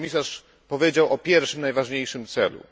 Pan komisarz powiedział o pierwszym, najważniejszym celu.